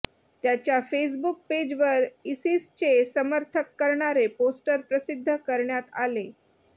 त्याच्या फेसबूक पेजवर इसिसचे समर्थक करणारे पोस्टर प्रसिद्ध करण्यात आले